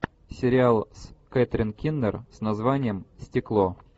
сериал с кэтрин кинер с названием стекло